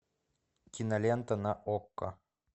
кинолента на окко